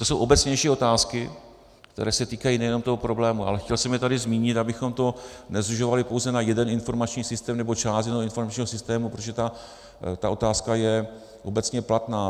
To jsou obecnější otázky, které se týkají nejenom toho problému, ale chtěl jsem je tady zmínit, abychom to nezužovali pouze na jeden informační systém nebo část jednoho informačního systému, protože ta otázka je obecně platná.